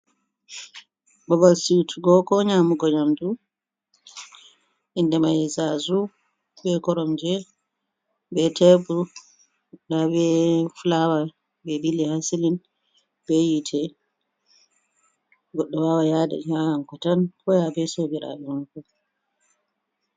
Babal suiti go ko nyamugo nyamdu inde mai zazu, be koromje, be tebur, nda be fulawa ɓe bili ha silin, be yite, goɗɗo wawan yada hanko tan ko ya be sobiraɓe mako.